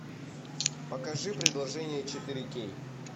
покажи предложение четыре кей